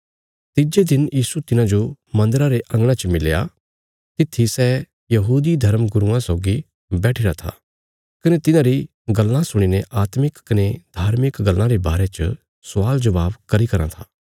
तिज्जे दिन यीशु तिन्हाजो मन्दरा रे अंगणा च मिलया तित्थी सै यहूदी धर्मगुरुआं सौगी बैठिरा था कने तिन्हारी गल्लां सुणीने आत्मिक कने धार्मिक गल्लां रे बारे च स्वाल जबाब करी रां था